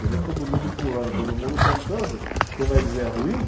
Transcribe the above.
Você vê todo mundo pulando, todo mundo cantando, você vai dizer é ruim?